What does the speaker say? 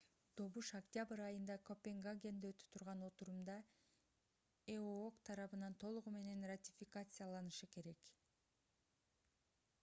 добуш октябрь айында копенгагенде өтө турган отурумда эок тарабынан толугу менен ратификацияланышы керек